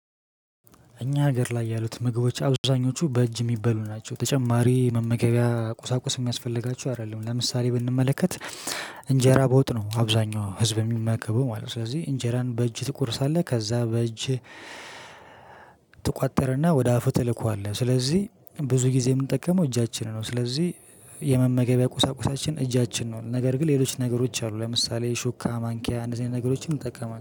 እኛ ሀገር ላይ ያሉት ምግቦች አብዛኞቹ በእጅ የሚበሉ ናቸው። ተጨማሪ መመገቢያ ቁሳቁስ የሚያስፈልጋቸው አይደለም። ለምሳሌ ብንመለከት እንጀራ በወጥ ነው አብዛኛው ህዝብ የሚመገበው ማለት ነው። ስለዚህ እንጀራን በእጅህ ትቆርሳለህ ከዛ በእጅህ ትቋጥር እና ወደ አፍህ ትልከዋለህ ስለዚህ ብዙ ጊዜ የምንጠቀመው እጃችን ነው። ስለዚህ የመመገቢያ ቁሳቁሳችን እጃችን ነው። ነገር ግን ሌሎች ነገሮች አሉ። ለምሳሌ ሹካ ማንኪያ ነገሮችን ይጠቀማል